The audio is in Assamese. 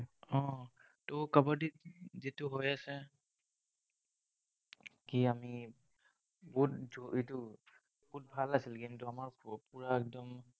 উম কাবাদীত যিটো হৈ আছে, কি আমি বহুত এইটো, বহুত ভাল আছিল game টো, আমাৰ পুৰা একদম